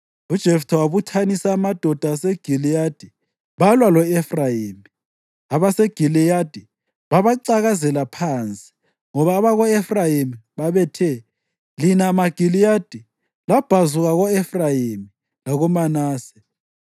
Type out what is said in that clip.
UJeftha wabuthanisa amadoda aseGiliyadi balwa lo-Efrayimi. AbaseGiliyadi babacakazela phansi ngoba abako-Efrayimi babethe, “Lina maGiliyadi labhazuka ko-Efrayimi lakoManase.”